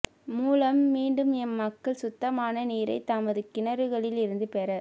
மூலம் மீண்டும் எம்மக்கள் சுத்தமான நீரைத் தமது கிணறுகளில் இருந்து பெற